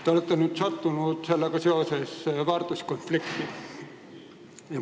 Nüüd aga olete sattunud väärtuskonflikti.